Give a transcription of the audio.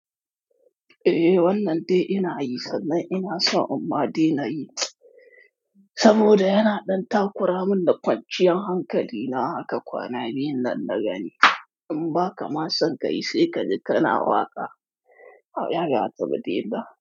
Eh, wannan dai ina yi sannan ina so in ma dai na yi saboda yana ɗan takura min da kwanciyar hankali na haka kwanaki biyun nan na gani. In ba ka ma san ka yi sai ka ji kana waƙa. Amma ba zaka dade ba.